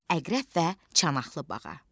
Əqrəb və Çanaqlı bağa.